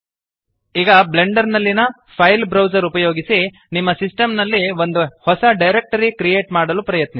ಈಗ ಬ್ಲೆಂಡರ್ ನಲ್ಲಿಯ file browser ಉಪಯೋಗಿಸಿ ನಿಮ್ಮ ಸಿಸ್ಟೆಮ್ ನಲ್ಲಿ ಒಂದು ಹೊಸ ಡಿರೆಕ್ಟರಿ ಕ್ರಿಯೇಟ್ ಮಾಡಲು ಪ್ರಯತ್ನಿಸಿ